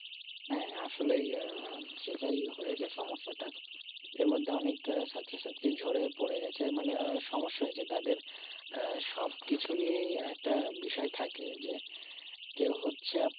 হ্যাঁ আসলে আহ সেটাই হয়েছে সমস্যাতা এর মধ্যে অনেক ছাত্র ছাত্রী জোরে পরে গেছে মানে সমস্যা হয়েছে তাদের আহ সব কিছু নিয়াই বিষয় থাকে কেউ হচ্ছে